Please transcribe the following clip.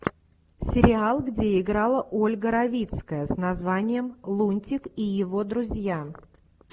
сериал где играла ольга равицкая с названием лунтик и его друзья